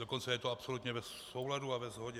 Dokonce je to absolutně v souladu a ve shodě.